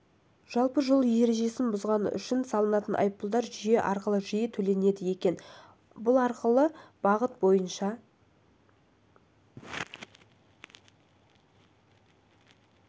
жалпы жол ережесін бұзғаны үшін салынатын айыппұлдар жүйе арқылы жиі төленеді екен арқылы бұл бағыт бойынша